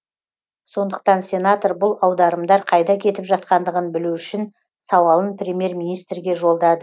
сондықтан сенатор бұл аударымдар қайда кетіп жатқандығын білу үшін сауалын премьер министрге